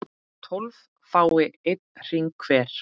tólf fái einn hring hver